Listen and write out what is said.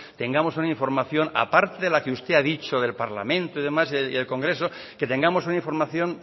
tengamos una información aparte de la que usted ha dicho del parlamento y demás del congreso que tengamos una información